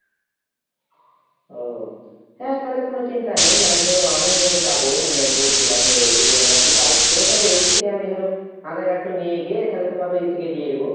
ওহ। হ্যাঁ তালে কোনো চিন্তা নেই মানে ধরো আমিই ধরো যাবো মানে বলছিলাম, এদিকে মানে একটু কাজ সেভাবে তালে ওইদিক থেকে আমি ধরো আঁধার card টো নিয়ে গিয়ে তোমাকে ওদিক থেকে দিয়ে দেব।